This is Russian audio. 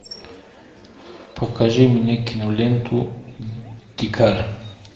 покажи мне киноленту дикарь